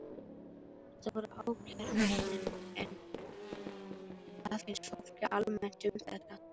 Þetta voru ákæruefnin, en hvað finnst fólki almennt um þetta?